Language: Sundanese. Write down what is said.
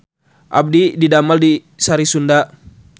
Abdi didamel di Sari Sunda